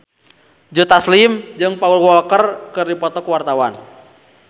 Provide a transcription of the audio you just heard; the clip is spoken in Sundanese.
Joe Taslim jeung Paul Walker keur dipoto ku wartawan